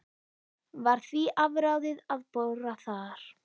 Var því afráðið að bora þar.